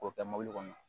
K'o kɛ mobili kɔnɔ